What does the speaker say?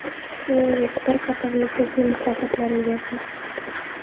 Shuningdek, bir qator nufuzli mukofotlar egasi.